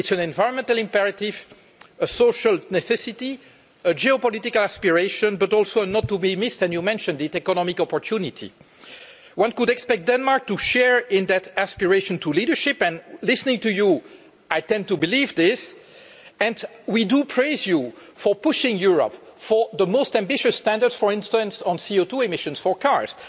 it is an environmental imperative, a social necessity, a geopolitical aspiration, but also and you mentioned this an economic opportunity not to be missed. One could expect Denmark to share in that aspiration towards leadership and listening to you, I tend to believe this and we praise you for pushing Europe to the most ambitious standards for instance on CO2 emissions for cars.